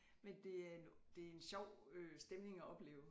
Men det er det en sjov stemning at opleve